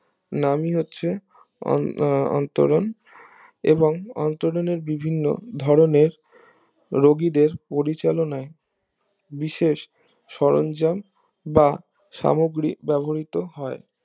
নামিই হচ্ছে অন অন্তরন এবং অন্তরণের বিভিন্ন ধরণের রোগাদের পরিচালনায় বিশেষ সরন্জাম বা সামগ্রী ব্যবহৃত হয়